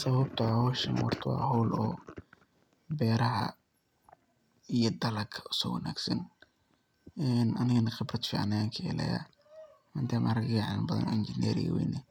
Sababto ah howshaan horta wa howl oo beraha iyo dalaga uso wanagsan. Anigana khibraad fican ayan kahelaya intey marag iga cilmi badan oo injiner iga weyn ah